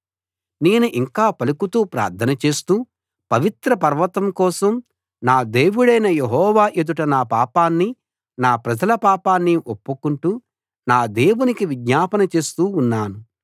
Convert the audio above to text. నేను ఇంకా పలుకుతూ ప్రార్థనచేస్తూ పవిత్ర పర్వతం కోసం నా దేవుడైన యెహోవా ఎదుట నా పాపాన్ని నా ప్రజల పాపాన్ని ఒప్పుకుంటూ నా దేవునికి విజ్ఞాపన చేస్తూ ఉన్నాను